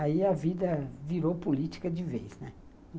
Aí a vida virou política de vez, né.